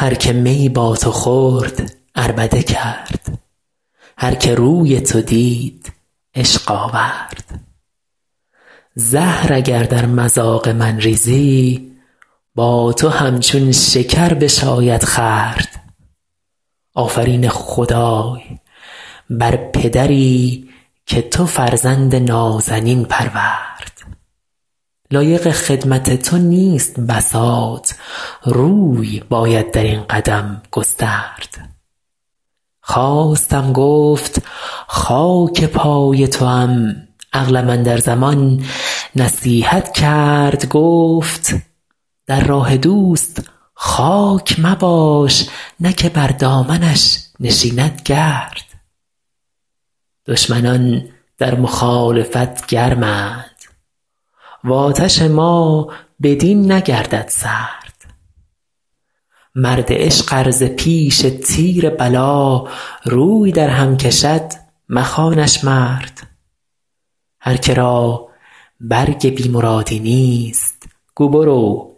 هر که می با تو خورد عربده کرد هر که روی تو دید عشق آورد زهر اگر در مذاق من ریزی با تو همچون شکر بشاید خورد آفرین خدای بر پدری که تو فرزند نازنین پرورد لایق خدمت تو نیست بساط روی باید در این قدم گسترد خواستم گفت خاک پای توام عقلم اندر زمان نصیحت کرد گفت در راه دوست خاک مباش نه که بر دامنش نشیند گرد دشمنان در مخالفت گرمند و آتش ما بدین نگردد سرد مرد عشق ار ز پیش تیر بلا روی درهم کشد مخوانش مرد هر که را برگ بی مرادی نیست گو برو